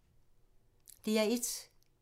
DR1